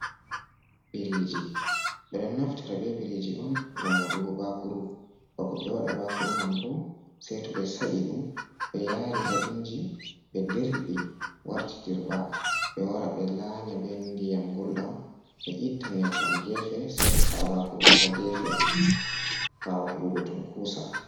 Biriiji ɓe ɗon naftira be biriiji on ngam waɗugo bakuru, bako ɓe waɗa bakuru man bo, sey to ɓe sa’i ɗum be yaari haa inji, ɓe dirɓi warti dirɓa ,ɓe wara ɓe laanya be ndiyam gulɗamm, ɓe itta nyebbam geefe seɗɗa, sa’a bakuru bo ,haa geefe ɓaawo heɓugo tunkusa.